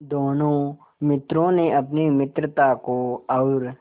दोनों मित्रों ने अपनी मित्रता को और